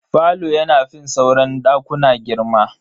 Falo yana fin sauran dakuna girma.